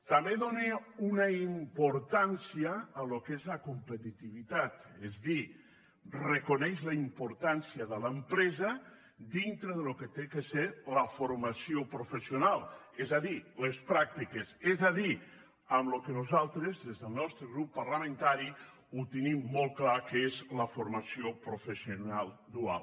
també dóna una importància al que és la competitivitat és a dir reconeix la importància de l’empresa dintre del que ha de ser la formació professional és a dir les pràctiques és a dir el que nosaltres des del nostre grup parlamentari tenim molt clar que és la formació professional dual